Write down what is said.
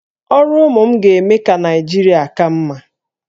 Ọrụ ụmụ m ga-eme ka Naịjirịa ka mma